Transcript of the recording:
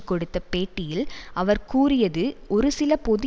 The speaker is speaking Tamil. கொடுத்த பேட்டியில் அவர் கூறியது ஒரு சில பொது